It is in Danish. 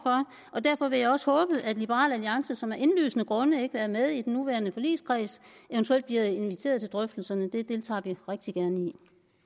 og derfor vil jeg også håbe at liberal alliance som af indlysende grunde ikke er med i den nuværende forligskreds eventuelt bliver inviteret til drøftelserne dem deltager vi rigtig gerne i